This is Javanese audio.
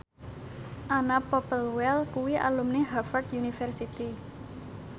Anna Popplewell kuwi alumni Harvard university